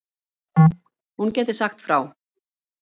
hún gæti sagt frá